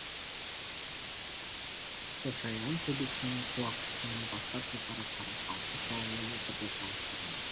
шошайған төбесінің құлақ тұсынан бастап жоғары қарай алты салалы етіп оқа ұстаған